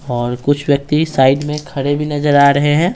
और कुछ व्यक्ति साइड में खड़े भी नजर आ रहे हैं।